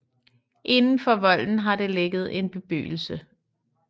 Inden for volden har der ligget en bebyggelse